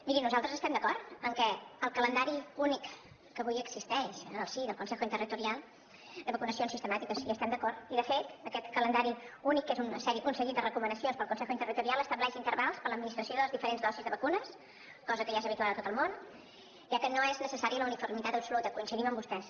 miri nosaltres estem d’acord que el calendari únic que avui existeix en el si del consejo interterritorial de vacunacions sistemàtiques hi estem d’acord i de fet aquest calendari únic que és un seguit de recomanacions del consejo interterritorial estableix intervals per a l’administració de les diferents dosis de vacunes cosa que ja és habitual a tot el món ja que no és necessària la uniformitat absoluta coincidim amb vostès